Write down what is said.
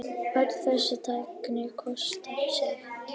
Öll þessi tækni kostar sitt.